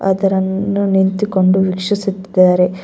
ಆ ತರ ನಿ ನಿಂತುಕೊಂಡು ವೀಕ್ಷಿಸುತ್ತಿದ್ದಾರೆ.